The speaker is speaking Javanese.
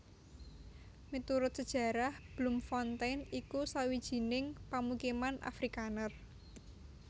Miturut sajarah Bloemfontein iku sawijining pamukiman Afrikaner